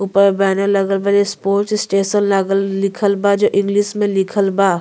ऊपर बैनर लगल बा ए-स्पोर्ट्स स्टेशन लागल लिखल बा जो इंग्लिश मे लिखल बा।